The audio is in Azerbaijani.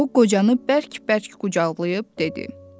O qocanı bərk-bərk qucaqlayıb dedi: